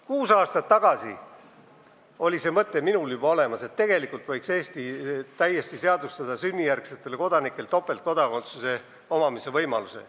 Kuus aastat tagasi oli minul juba olemas see mõte, et tegelikult võiks Eesti täiesti seadustada topeltkodakondsuse võimaluse sünnijärgsetele kodanikele.